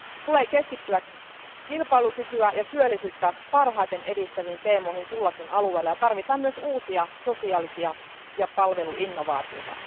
Tulee keskittyä kilpailukykyä ja työllisyyttä parhaiten edistäviin teemoihin kullakin alueella ja tarvitaan myös uusia sosiaalisia ja palveluinnovaatioita.